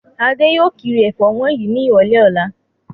Adé yóò kiri ẹ̀fọ́ wọ̀nyí ní ìrọ́lẹ́ ọ̀la.